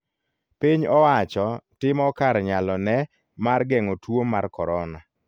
Piny owacho timo kar nyalo ne mar geng'o tuo mar korona.